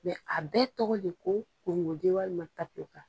a bɛɛ tɔgɔ de ko walima tapiyokaka.